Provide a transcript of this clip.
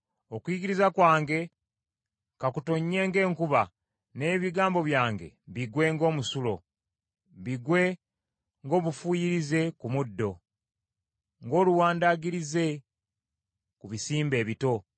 Okuyigiriza kwange ka kutonnye ng’enkuba, n’ebigambo byange bigwe ng’omusulo, bigwe ng’obufuuyirize ku muddo, ng’oluwandagirize ku bisimbe ebito.